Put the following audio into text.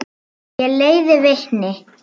Ég leiði vitni.